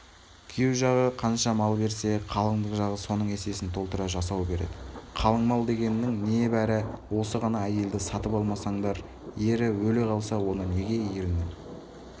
күйеу жағы қанша мал берсе қалыңдық жағы соның есесін толтыра жасау береді қалың мал дегеннің небары осы ғана әйелді сатып алмасаңдар ері өле қалса оны неге ерінің